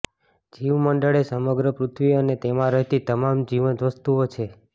જીવમંડળ એ સમગ્ર પૃથ્વી અને તેમાં રહેતી તમામ જીવંત વસ્તુઓ છે